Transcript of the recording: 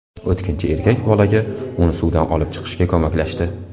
O‘tkinchi erkak bolaga uni suvdan olib chiqishga ko‘maklashdi.